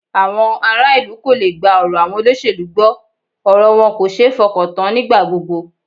Àwọn ará ìlú kò le gba ọ̀rọ̀ àwọn olóṣèlú gbọ́, ọ̀rọ̀ wọn kò ṣe é fọkàntán nígbà gbogbo